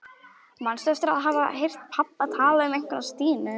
Manstu eftir að hafa heyrt pabba tala um einhverja Stínu?